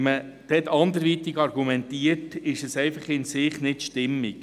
Wenn man diesbezüglich anders argumentiert, ist das einfach nicht stimmig.